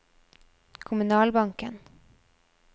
kommunalbanken